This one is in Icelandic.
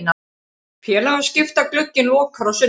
Félagaskiptaglugginn lokar á sunnudag.